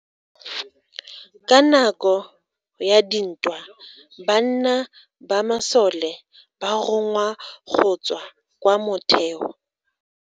Ka nako ya dintwa banna ba masole ba rongwa go tswa kwa motheo.